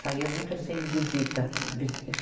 Saía muito assim em visita. vis